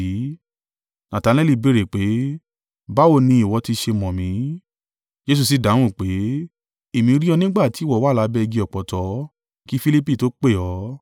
Natanaeli béèrè pé, “Báwo ni ìwọ ti ṣe mọ̀ mí?” Jesu sì dáhùn pé, “Èmi rí ọ nígbà tí ìwọ wà lábẹ́ igi ọ̀pọ̀tọ́ kí Filipi tó pè ọ́.”